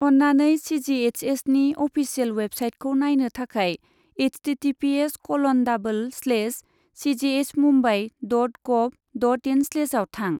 अन्नानै सि जि H एसनि official वेबसाइटखौ नायनो थाखाय एइसटिटिपिएस कलन डाबोल स्लेश सिजिएइसएसमुम्बाइ डट गभ डट इन स्लेशआव थां।